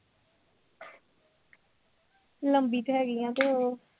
ਲੰਬੀ ਤੇ ਹੈਗੀ ਹਾਂ ਅਤੇ ਹੋਰ